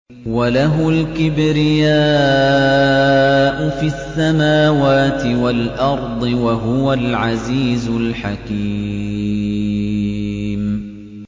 وَلَهُ الْكِبْرِيَاءُ فِي السَّمَاوَاتِ وَالْأَرْضِ ۖ وَهُوَ الْعَزِيزُ الْحَكِيمُ